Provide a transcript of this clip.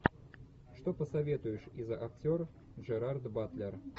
что посоветуешь из актер джерард батлер